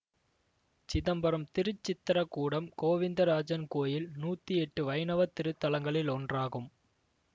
சிதம்பரம் திருச்சித்ரகூடம் கோவிந்தராஜன் கோயில் நூத்தி எட்டு வைணவ திருத்தலங்களில் ஒன்றாகும்